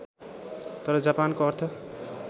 तर जापानको अर्थ